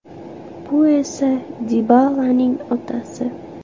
Bu esa Dibalaning otasi.